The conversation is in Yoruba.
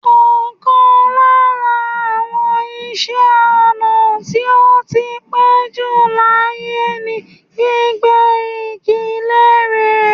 Ọ̀kan lára àwọn iṣẹ́-ọnà tí ó ti pẹ́jù láyé ni gbígbẹ́ igi lére.